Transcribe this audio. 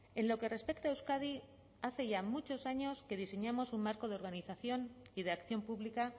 en lo que respecta a euskadi hace ya muchos años que diseñamos un marco de organización y de acción pública